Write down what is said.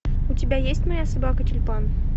у тебя есть моя собака тюльпан